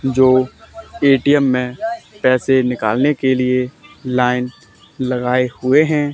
जो ए_टी_एम में पैसे निकालने के लिए लाइन लगाए हुए हैं।